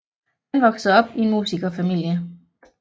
Han voksede op i en musikerfamilie